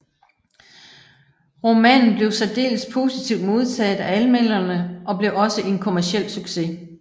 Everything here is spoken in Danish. Romanen blev særdeles positivt modtaget af anmelderne og blev også en kommerciel succes